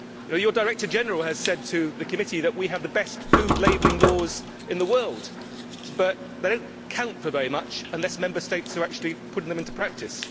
Your Director General has said to the committee that we have the best food labelling laws in the world, but they do not count for very much unless Member States actually put them into practice.